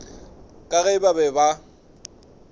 ka ge ba be ba